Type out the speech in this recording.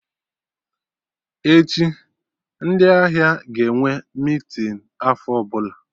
Echi, ndị ahịa ga-enwe meeting afọ ọbụla